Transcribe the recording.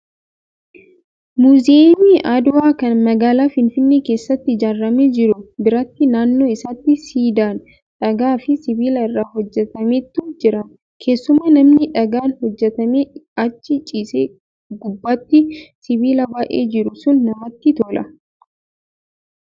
Muuziyeemii Adwaa kan magaalaa Finfinnee keessatti ijaaramee jiru biratti naannoo isaatti siidaan dhagaa fi sibiila irraa hojjatametu jiram keessumaa namni dhagaan hojjatamee achi ciisee gubbaatti sibiila baay'ee jiru sun namatti tola.